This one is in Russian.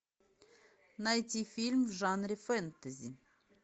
найти фильм в жанре фэнтези